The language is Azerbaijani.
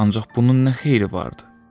Ancaq bunun nə xeyri vardı?